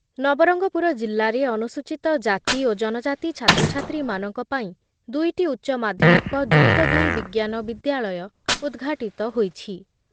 ନବରଙ୍ଗପୁର ଜିଲ୍ଲାରେ ଅନୁସୂଚିତ ଜାତି ଓ ଜନଜାତି ଛାତ୍ରଛାତ୍ରୀମାନଙ୍କ ପାଇଁ ଦୁଇଟି ଉଚ୍ଚ ମାଧ୍ଯମିକ ଯୁକ୍ତଦୁଇ ବିଜ୍ଞାନ ବିଦ୍ୟାଳୟ ଉଦ୍‌ଘାଟିତ ହୋଇଛି ।